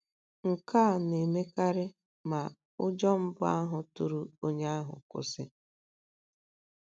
Nke a na - emekarị ma ụjọ mbụ ahụ tụrụ onye ahụ kwụsị.